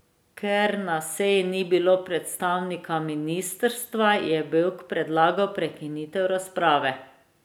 Ker na seji ni bilo predstavnika ministrstva, je Bevk predlagal prekinitev razprave.